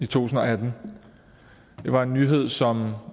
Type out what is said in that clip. tusind og atten det var en nyhed som